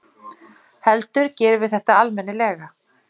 heldur gerum við þetta almennilega.